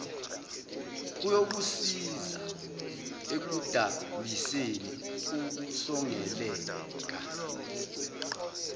kuyokusiza ekudambiseni ukusongeleka